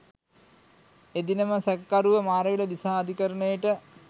එදිනම සැකකරුව මාරවිල දිසා අධිකරණයට